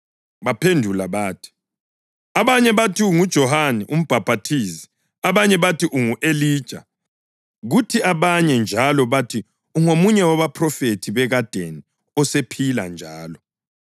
Baphendula bathi, “Abanye bathi unguJohane uMbhaphathizi; abanye bathi ungu-Elija; kuthi abanye njalo bathi ungomunye wabaphrofethi bekadeni osephila njalo.”